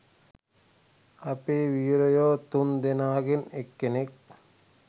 අපේ වීරයො තුන් දෙනාගෙන් කෙනෙක්